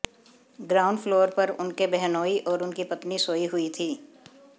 ground floor पर उनके बहनोई और उनकी पत्नी सोई हुई थी